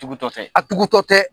Tugutɔtɛ a tugutɔtɛ